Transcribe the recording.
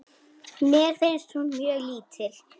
Mér finnst hún mjög lítil.